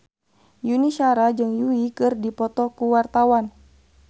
Yuni Shara jeung Yui keur dipoto ku wartawan